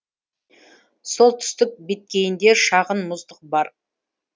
солтүстік беткейінде шағын мұздық бар